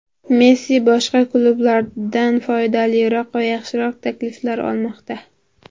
Messi boshqa klublardan foydaliroq va yaxshiroq takliflar olmoqda.